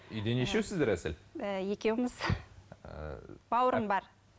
үйде нешеусіздер әсел ііі екеуміз ііі бауырым бар